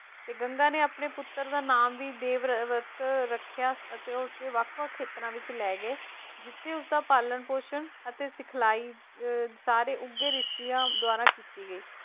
ਤੇ ਗੰਗਾ ਆਪਣੇ ਪੁੱਤਰ ਦਾ ਨਾਮ ਵੀ ਦੇਵਵਰਤ ਰੱਖਿਆ ਅਤੇ ਉਸਦੇ ਵੱਖ ਵੱਖ ਖੇਤਰਾਂ ਵਿੱਚ ਲੈ ਗਏ ਜਿੱਥੇ ਉਸ ਦਾ ਪਾਲਣ ਪੋਸ਼ਣ ਅਤੇ ਸਿਖਲਾਈ ਅਹ ਸਾਰੇ ਉੱਘੇ ਰਿਸ਼ੀਆਂ ਦੁਆਰਾ ਕੀਤੀ ਗਈ।